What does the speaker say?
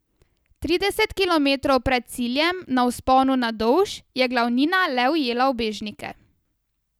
Trideset kilometrov pred ciljem, na vzponu na Dolž, je glavnina le ujela ubežnike.